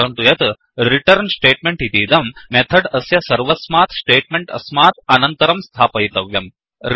स्मरन्तु यत् returnरिटर्न् स्टेट्मेण्ट् इतीदं मेथड् अस्य सर्वस्मात् स्टेट्मेरण्ट् अस्मात् अनन्तरं स्थापयितव्यम्